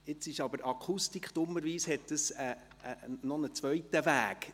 Die Akustik nimmt dummerweise noch einen zweiten Weg;